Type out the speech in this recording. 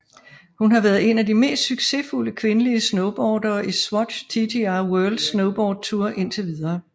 Hun har været en af de mest succesfulde kvindelige snowboardere i Swatch TTR World Snowboard Tour indtil videre